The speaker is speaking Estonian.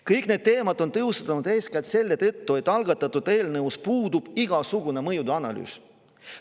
Kõik need teemad on tõusnud eeskätt selle tõttu, et algatatud eelnõus puudub igasugune mõjude analüüs.